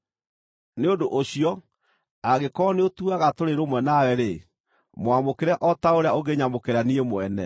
Nĩ ũndũ ũcio angĩkorwo nĩũtuaga tũrĩ rũmwe nawe-rĩ, mwamũkĩre o ta ũrĩa ũngĩnyamũkĩra niĩ mwene.